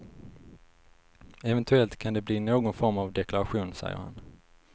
Eventuellt kan det bli någon form av deklaration, säger han.